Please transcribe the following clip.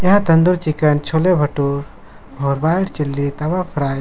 यहां तंदूर चिकन छोले भटूर और white chilli tawa fry --